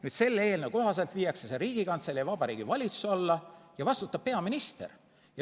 Nüüd selle eelnõu kohaselt viiakse see Riigikantselei ja Vabariigi Valitsuse alla ja vastutab peaminister.